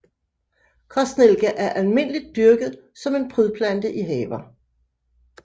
Kostnellike er almindeligt dyrket som en prydplante i haver